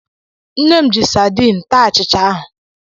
Nne m ji sadin taa achịcha ahụ.